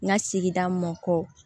N ka sigida mun kɔ